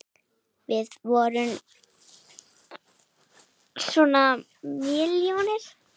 Við vorum svona mjóir!